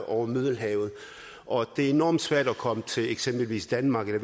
over middelhavet og det er enormt svært at komme til eksempelvis danmark